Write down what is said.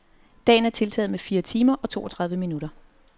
Dagen er tiltaget med fire timer og toogtredive minutter.